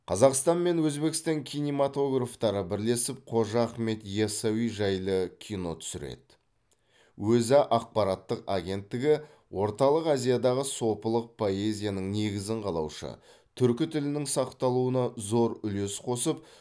қазақстан мен өзбекстан кинематографтары бірлесіп қожа ахмет яссауи жайлы кино түсіреді өза ақпараттық агенттігі орталық азиядағы сопылық поэзияның негізін қалаушы түркі тілінің сақталуына зор үлес қосып